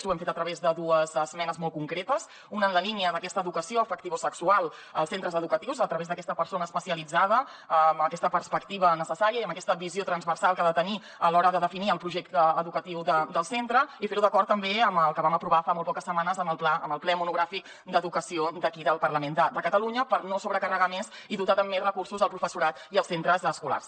ho hem fet a través de dues esmenes molt concretes una en la línia d’aquesta educació afectivosexual als centres educatius a través d’aquesta persona especialitzada amb aquesta perspectiva necessària i amb aquesta visió transversal que ha de tenir a l’hora de definir el projecte educatiu del centre i fer ho d’acord també amb el que vam aprovar fa molt poques setmanes en el ple monogràfic d’educació d’aquí del parlament de catalunya per no sobrecarregar més i dotar amb més recursos el professorat i els centres escolars